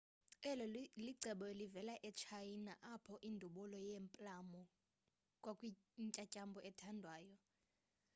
eli cebo livela etshayina apho indubulo yeeplamu kwakuyintyantyambo ethandwayo